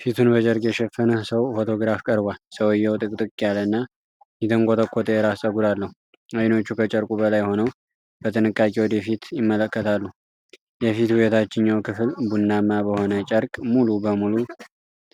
ፊቱን በጨርቅ የሸፈነ ሰው ፎቶግራፍ ቀርቧል። ሰውየው ጥቅጥቅ ያለና የተንቆጠቆጠ የራስ ፀጉር አለው። ዓይኖቹ ከጨርቁ በላይ ሆነው በጥንቃቄ ወደ ፊት ይመለከታሉ። የፊቱ የታችኛው ክፍል ቡናማ በሆነ ጨርቅ ሙሉ በሙሉ